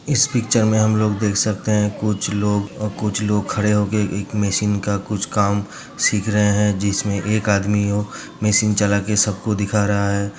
इस पिक्चर में हम लोग देख सकते हैं। कुछ लोग कुछ लोग खड़े होके एक मशीन का कुछ काम सीख रहे हैं जिसमें एक आदमी वो मशीन चला के सबको दिखा रहा है।